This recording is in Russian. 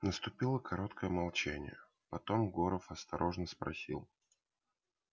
наступило короткое молчание потом горов осторожно спросил